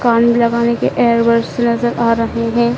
कान मे लगाने के इयर बड्स लेकर आ रहे हैं।